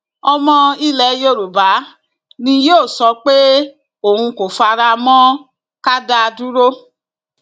ọmọ ilẹ yoruba ni yóò sọ pé òun kò fara mọ ká da dúró